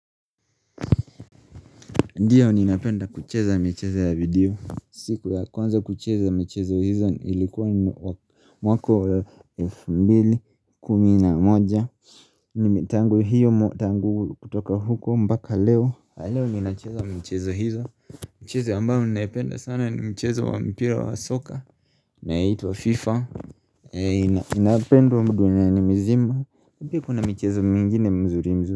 Ndiyo ninapenda kucheza michezo ya video siku ya kwanza kucheza michezo hizo ilikuwa mwaka mbili kumina moja ni mitangu hiyo tangu kutoka huko mbaka leo Aleo ni inapenda mchezo hizo Mchezo ambayo ni inapenda sana ni mchezo wa mpira wa soka inayoitwa wa fifa inapenda duniani ni mzima Kuna mchezo mingine mzuri mzuri.